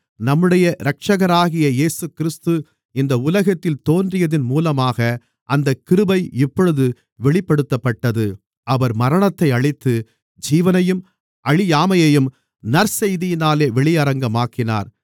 நம்முடைய இரட்சகராகிய இயேசுகிறிஸ்து இந்த உலகத்தில் தோன்றியதன் மூலமாக அந்தக் கிருபை இப்பொழுது வெளிப்படுத்தப்பட்டது அவர் மரணத்தை அழித்து ஜீவனையும் அழியாமையையும் நற்செய்தியினாலே வெளியரங்கமாக்கினார்